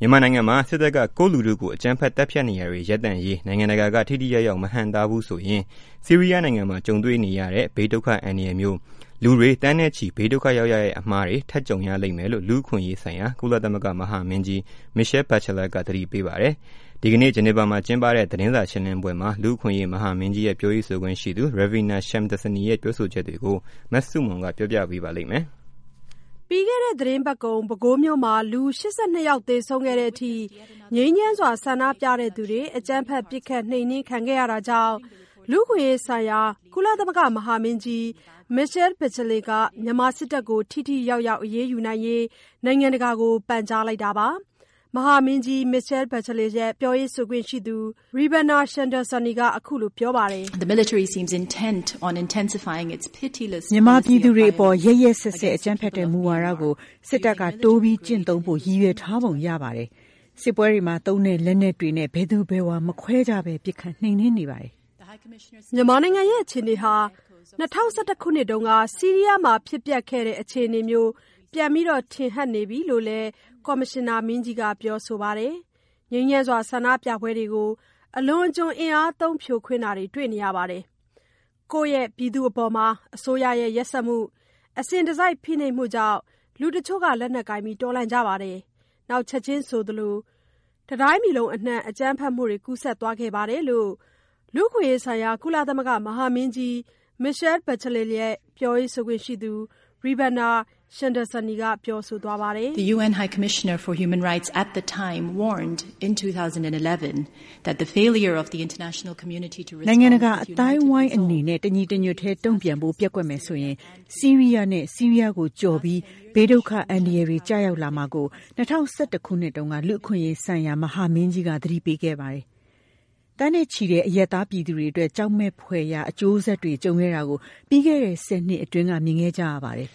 မြန်မာနိုင်ငံမှာ စစ်တပ်က ကိုယ့်လူထုကို အကြမ်းဖက် သတ်ဖြတ်နေတာတွေ ရပ်တန့်ရေး နိုင်ငံတကာက ထိထိရောက် မဟန့်တားဘူးဆိုရင် ဆီးရီးယားနိုင်ငံမှာကြုံတွေ့ရတဲ့ ဘေးဒုက္ခအန္တရာယ်မျိုး၊ လူတွေ သန်းနဲ့ချီဘေးဒုက္ခ ရောက်ရတဲ့ အမှားတွေ ထပ်ကြုံရလိမ့်မယ်လို့ လူ့အခွင့်အရေးဆိုင်ရာ ကုလသမဂ္ဂ မဟာမင်းကြီး Michelle Bachelet က သတိပေးပါတယ်။ ဒီကနေ့ ဂျနီဗာမှာ ကျင်းပတဲ့ သတင်းစာရှင်းလင်းပွဲမှာ လူ့အခွင့်အရေး မဟာမင်းကြီးရဲ့ ပြောရေးဆိုခွင့်ရှိသူ Ravina Shamdasani ရဲ့ ပြောဆိုချက်တွေကို မဆုမွန်က ပြောပြပေးပါလိမ့်မယ်။ ပြီးခဲ့တဲ့သီတင်းပတ်ကုန် ပဲခူးမြို့မှာ လူ ၈၂ ယောက်သေဆုံးခဲ့တဲ့ အထိ ငြိမ်းချမ်းစွာ ဆန္ဒပြသူတွေ အကြမ်းဖက်ပစ်ခတ်နှိမ်နှင်းခံခဲ့ရတာကြောင့် လူ့အခွင့်အရေးဆိုင်ရာ ကုလသမဂ္ဂ မဟာမင်းကြီး Michelle Bachelet က မြန်မာစစ်တပ်ကို ထိထိ ရောက်ရောက် အရေးယူရေး နိုင်ငံတကာကို ပန်ကြားလိုက်တာပါ။ မဟာမင်းကြီး Michelle Bachelet ရဲ့ ပြောရေးဆိုခွင့်ရှိသူ Ravina Shamdasani က အခုလိုပြောပါတယ်။ “ မြန်မာပြည်သူတွေအပေါ် ရက်ရက်စက်စက် အကြမ်းဖက်တဲ့ မူဝါဒကို စစ်တပ်က တိုးပြီး ကျင့်သုံးဖို့ ရည်ရွယ်ထားပုံရပါတယ်။ စစ်ပွဲတွေမှာ သုံးတဲ့ လက်နက်တွေနဲ့ ဘယ်သူဘယ်ဝါ မခွဲခြားဘဲ ပစ်ခတ်နှိမ်နှင်းနေပါတယ်။” မြန်မာနိုင်ငံအခြေအနေဟာ ၂၀၁၁ ခုနှစ်က ဆီရီးယားမှာ ဖြစ်ပျက်ခဲ့တဲ့ အခြေအနေမျိုး ပြန်ထင်ဟတ်နေပြီလို့လည်း ကော်မရှင်နာမင်းကြီးက ပြောဆိုပါတယ်။ ငြိမ်းချမ်းစွာ ဆန္ဒပြပွဲတွေကို အလွန်အကျွံအင်အားသုံး ဖြိုခွင်းတာတွေ တွေ့နေရတယ်။ ကိုယ့်ပြည်သူတွေအပေါ် အစိုးရရဲ့ ရက်စက်မှု၊ အစဉ်တစိုက် ဖိနှိပ်မှုကြောင့် လူတချို့က လက်နက်ကိုင်တော်လှန်ကြပါတယ်။ နောက် ချက်ချင်းဆိုသလို တတိုင်းပြည်လုံး အနှံ့ အကြမ်းဖက်မှုတွေ ကူးစက်သွားခဲ့ပါတယ်လို့ လူ့အခွင့်အရေးဆိုင်ရာ ကုလသမဂ္ဂ မဟာမင်းကြီး Michelle Bachelet ရဲ့ ပြောရေးဆိုခွင့်ရှိသူ Ravina Shamdasani က ပြောဆိုသွားပါတယ်။ “ နိုင်ငံတကာ အသိုင်းအနေနဲ့ တညီတညွတ်တည်း တုံ့ပြန်ဖို့ ပျက်ကွက်မယ်ဆိုရင် ဆီရီးယားနဲ့ ဆီးရီးယားကို ကျော်ပြီး ဘေးဒုက္ခ အန္တရယ်တွေ ကျရောက်လာမှာကို ၂၀၁၁ ခုနှစ်တုန်းက လူ့အခွင့်အရေးဆိုင်ရာ မဟာမင်းကြီးက သတိပေးခဲ့ပါတယ်။ သန်းနဲ့ချီတဲ့ အရပ်သား ပြည်သူတွေအတွက် ကြောက်မယ်ဖွယ်ရာ အကျိုးဆက်တွေ ကြုံခဲ့တာကို ပြီးခဲ့တဲ့ ၁၀ နှစ်အတွင်း မြင်ခဲ့ကြရပါတယ်။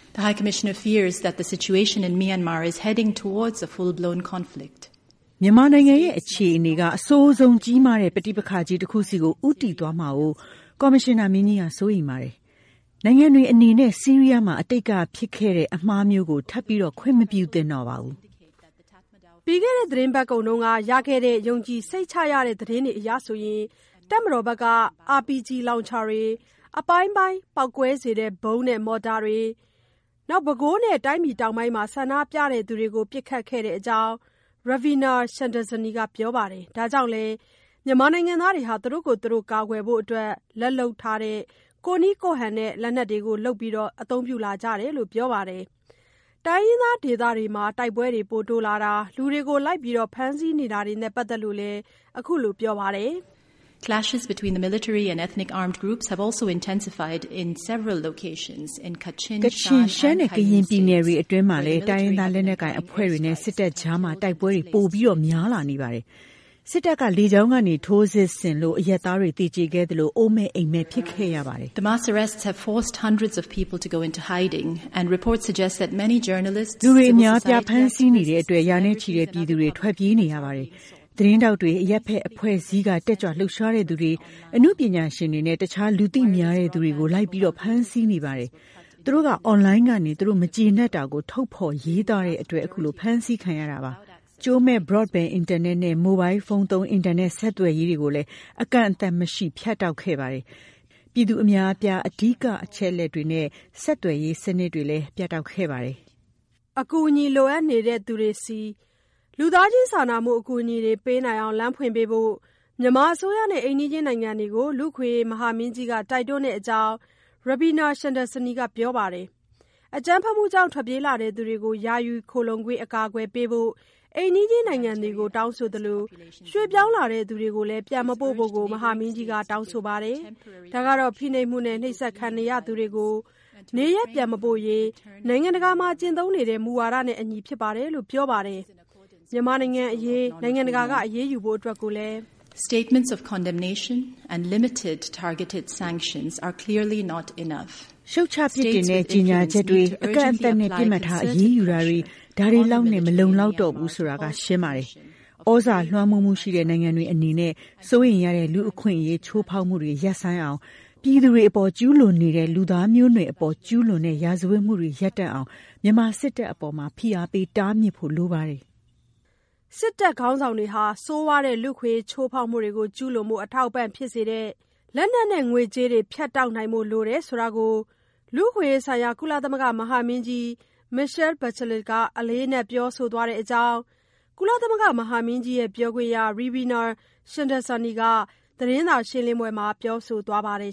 မြန်မာနိုင်ငံရဲ့ အခြေအနေက အဆိုးဆုံး ကြီးမားတဲ့ ပဋိပက္ခ ကြီး တခုဆီ ဦးတည်သွားမှာကို ကော်မရှင်နာမင်းကြီးက စိုးရိမ်ပါတယ်။ နိုင်ငံတွေအနေနဲ့ ဆီးရီးယားမှာ အတိတ်က ဖြစ်ပွားခဲ့တဲ့ အမှားမျိုးကို ထပ်ပြီးတော့ ခွင့်မပြုသင့်တော့ပါဘူး။” ပြီးခဲ့တဲ့ သီတင်းပတ်ကုန်က ရခဲ့တဲ့ ယုံကြည်စိတ်ချရတဲ့ သတင်းတွေအရ၊ တပ်မတော်ဘက်က RPG လောင်ချာတွေ၊ အပိုင်းပိုင်း ပေါက်ကွဲစေတဲ့ ဗုံးနဲ့ မော်တာတွေနဲ့ ပဲခူးနဲ့ တိုင်းပြည်တောင်ပိုင်းမှာ ဆန္ဒပြသူတွေကို ပစ်ခတ်ခဲ့တဲ့အကြောင်း Ravina Shamdasani က ပြောပါတယ်။ ဒါကြောင့်လည်း မြန်မာနိုင်ငံသား သူတို့ကိုယ်သူတို့ ကာကွယ်ဖို့ လက်လုပ်၊ ကိုယ့်နည်းကိုယ့်ဟန်နဲ့ လက်နက်တွေလုပ်ပြီး အသုံးပြုလာကြတယ်လို့ ပြောပါတယ်။ တိုင်းရင်းသားဒေသ တိုက်ပွဲတွေ တိုးလာတာ၊ လူတွေကို လိုက်ပြီး ဖမ်းဆီးနေတာတွေနဲ့ ပတ်သက်လို့လည်း အခုလို ပြောပါတယ်။ “ ကချင်၊ ရှမ်းနဲ့ ကရင်ပြည်နယ်တွေအတွင်းမှာလည်း တိုင်းရင်းသားလက်နက်ကိုင်အဖွဲ့တွေနဲ့ စစ်တပ်အကြား တိုက်ပွဲတွေ ပိုများလာနေပါတယ်။ စစ်တပ်က လေကြောင်းကနေ ထိုးစစ်ဆင်လို့ အရပ်သားတွေ သေကြေခဲ့သလို အိုးမဲ့အိမ်မဲ့ဖြစ်ခဲ့ရပါတယ်။ လူတွေ အများအပြား ဖမ်းဆီးနေတဲ့အတွက် ရာနဲ့ချီတဲ့ ပြည်သူတွေ ထွက်ပြေးနေရပါတယ်။ သတင်းထောက်တွေ၊ အရပ်ဖက်အဖွဲ့အစည်းက တက်ကြွ လှုပ်ရှားသူတွေ၊ အနုပညာရှင်တွေနဲ့ တခြား လူသိများတဲ့သူတွေကို လိုက်လံဖမ်းဆီးနေပါတယ်။ သူတို့က အွန်လိုင်းကနေ သူတို့ မကျေနပ်တာကို ထုတ်ဖေါ်ရေးသားတဲ့အတွက်ပါ။ ကြိုးမဲ့ Broadband အင်တာနက်နဲ့ မိုဘိုင်းဖုန်းသုံး အင်တာနက် ဆယ်သွယ်ရေးတွေကို အကန့်အသတ်မရှိ ဖြတ်တောက်ခဲ့ပါတယ်။ ပြည်သူအများအပြား အဓိက သတင်းအချက်အလက်တွေနဲ့ ဆက်သွယ်ရေးစနစ် ပြတ်တောက်ခဲ့ပါတယ်။” အကူအညီ လိုအပ်နေတဲ့သူတွေဆီ လူသားချင်းစာနာမှု အကူအညီတွေ ပေးနိုင်အောင ်လမ်းဖွင့်ပေးဖို့ မြန်မာအစိုးရနဲ့ အိမ်နီးချင်းနိုင်ငံတွေကို လူ့အခွင့်အရေး မဟာမင်းကြီးက တိုက်တွန်းတဲ့အကြောင်း Ravina Shamdasani က ပြောပါတယ်။ အကြမ်းဖက်မှုကြောင့် ထွက်ပြေးလာတဲ့လူတွေကို ယာယီ အကာအကွယ်ပေးဖို့ အိမ်နီချင်းနိုင်ငံတွေကို တောင်းဆိုသလို ရွှေ့ပြောင်းလာသူတွေကို ပြန်မပို့ဖို့လည်း မဟာမင်းကြီးက တောင်းဆိုပါတယ်။ ဒါက ဖိနှိပ်မှုနဲ့ နှိပ်စက်ခံရနိုင်တဲ့သူတွေကို နေရပ်ပြန်မပို့ရေး နိုင်ငံတကာမှာ ကျင့်သုံးနေတဲ့ မူဝါဒနဲ့ အညီဖြစ်တယ်လို့ ပြောပါတယ်။ မြန်မာနိုင်ငံ့အရေး နိုင်ငံတကာက အရေးယူဖို့ အတွက်လည်း “ရှုတ်ချ ပြစ်တင်တဲ့ ကြေညာချက်တွေ၊ အကန့်အသတ်နဲ့ ပစ်မှတ်ထား အရေးယူတာတွေ ဒါတွေလောက်နဲ့ မလုံလောက်တော့ဘူးဆိုတာ ရှင်းပါတယ်။ သြဇာလွှမ်းမိုးမှု ရှိတဲ့ နိုင်ငံတွေ အနေနဲ့ စိုးရိမ်ရတဲ့ လူ့အခွင့်အရေးချိုးဖောက်မှုတွေ ရပ်ဆိုင်းအောင်၊ ပြည်သူတွေအပေါ် ကျုးလွန်နေတဲ့ လူသားမျိုးနွယ်အပေါ် ကျုးလွန်တဲ့ ရာဇတ်ဝတ်မှုတွေ ရပ်တန့်အောင် မြန်မာစစ်တပ်အပေါ် ဖိအားပေးတားမြစ်ဖို့ လိုပါတယ်။” စစ်တပ်ခေါင်းဆောင်တွေ ဆိုးဝါးတဲ့ လူ့အခွင့်အရေး ချိုးဖောက်မှုတွေ ကျုးလွန်ဖို့ အထောက်အပံ့ဖြစ်စေတဲ့၊ လက်နက်နဲ့ ငွေကြးတွေ ဖြတ်တောက်နိုင်ဖို့ လိုတယ်ဆိုတာကို လူ့အခွင့်အရေးဆိုင်ရာ ကုလသမဂ္ဂ မဟာမင်းကြီး Michelle Bachelet က အလေးအနက် ပြောဆိုထားတဲ့အကြောင်း ပြောခွင့်ရ Ravina Shamdasani က သတင်းစာရှင်းလင်းပွဲမှာ ပြောဆိုသွားပါတယ်